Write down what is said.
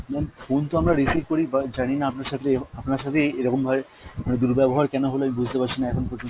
ma'am phone তো আমরা receive করি but জানিনা আপনার সাথে, আপনার সাথে এই এরকম ভাবে মানে দূরব্যাবহার কেন হল আমি বুঝতে পারছিনা এখন পর্যন্ত।